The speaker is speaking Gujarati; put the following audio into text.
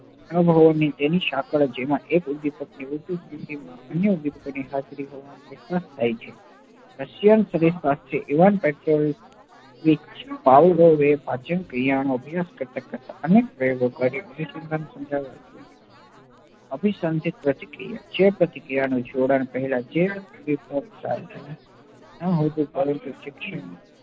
ભવોભવ એ પાચન ક્રિયા નો અભ્યાસ કરતા કરતા અનેક પ્રયોગો કેઈ અભીસંધિક પ્રતિક્રિયા જે પ્રતિક્રિયા ના જોડાણ પહેલા ના હોતો પરંતુ શિક્ષિત